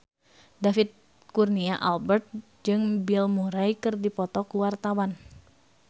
David Kurnia Albert jeung Bill Murray keur dipoto ku wartawan